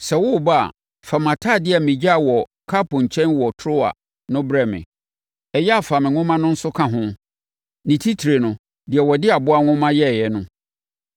Sɛ woreba a, fa mʼatadeɛ a megyaa wɔ Karpo nkyɛn wɔ Troa no brɛ me. Ɛyɛ a fa me nwoma no nso ka ho, ne titire no, deɛ wɔde aboa nwoma yɛeɛ no.